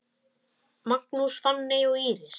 Magnús, Fanney og Íris.